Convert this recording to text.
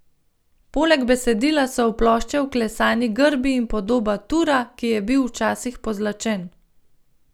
Poleg besedila so v ploščo vklesani grbi in podoba tura, ki je bil včasih pozlačen.